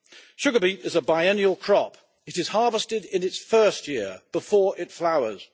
Sugar beet is a biennial crop. It is harvested in its first year before it flowers.